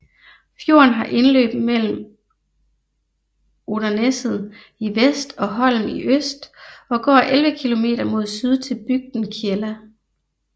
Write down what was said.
Fjorden har indløb mellem Oterneset i vest og Holm i øst og går 11 kilometer mod syd til bygden Kjella